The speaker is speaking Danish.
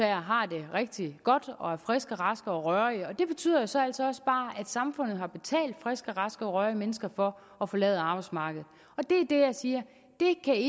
har det rigtig godt og er friske og raske og rørige det betyder altså altså også bare at samfundet har betalt friske og raske og rørige mennesker for at forlade arbejdsmarkedet det det jeg siger